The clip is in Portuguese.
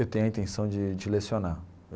Eu tenho a intenção de de lecionar.